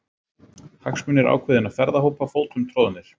Hagsmunir ákveðinna ferðahópa fótum troðnir